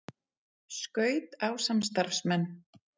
Skaut á samstarfsmenn